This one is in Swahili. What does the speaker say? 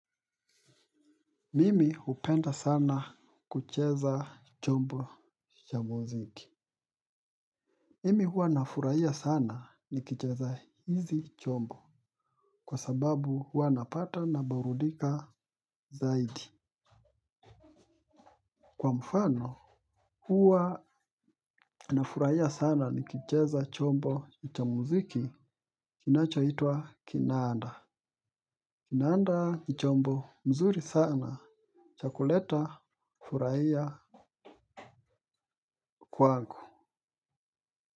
Mimi hupenda sana kucheza chombo cha muziki. Mimi huwa nafurahia sana nikicheza hizi chombo. Kwa sababu huwa napata naburudika zaidi. Kwa mfano huwa nafurahia sana nikicheza chombo cha muziki Kinachoitwa Kinanda. Kinanda ni chombo mzuri sana cha kuleta furahia kwangu.